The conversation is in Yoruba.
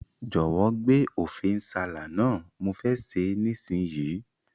Jòwó gbé Ofe nsala náà, mo fe se nísinyí